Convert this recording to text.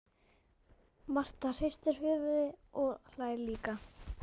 Marta hristir höfuðið og hlær líka.